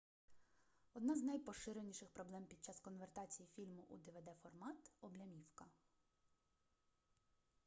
одна з найпоширеніших проблем під час конвертації фільму у двд-формат облямівка